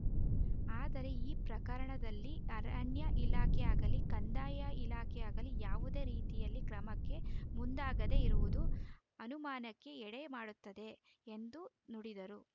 ಆದರೆ ಈ ಪ್ರಕರಣದಲ್ಲಿ ಅರಣ್ಯ ಇಲಾಖೆಯಾಗಲೀ ಕಂದಾಯ ಇಲಾಖೆಯಾಗಲೀ ಯಾವುದೇ ರೀತಿಯಲ್ಲಿ ಕ್ರಮಕ್ಕೆ ಮುಂದಾಗದೆ ಇರುವುದು ಅನುಮಾನಕ್ಕೆ ಎಡೆ ಮಾಡುತ್ತದೆ ಎಂದು ನುಡಿದರು